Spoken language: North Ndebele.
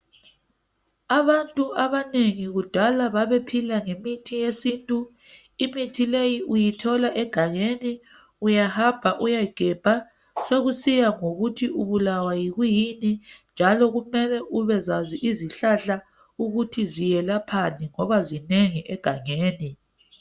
Abantu abanengi kudala babephila ngemithi yesintu, imithi leyi uyithola egangeni, uyahamba uyegebha, sokusiya ngokuthi ubulawa yikuyini njalo kumele ubezazi izihlahla ukuthi ziyelaphani ngoba zinengi egangeni.